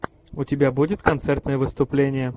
у тебя будет концертное выступление